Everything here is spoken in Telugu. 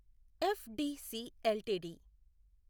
FDC LTD